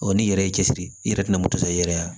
n'i yɛrɛ y'i cɛsiri i yɛrɛ tɛna moto sɔrɔ i yɛrɛ ye